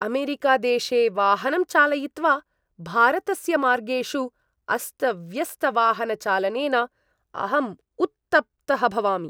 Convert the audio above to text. अमेरिकादेशे वाहनं चालयित्वा, भारतस्य मार्गेषु अस्तव्यस्तवाहनचालनेन अहम् उत्तप्तः भवामि।